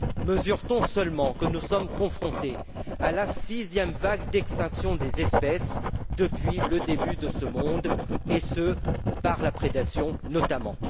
Mesure t on seulement que nous sommes confrontés à la sixième vague d'extinction des espèces depuis le début de ce monde, et ce par la prédation notamment?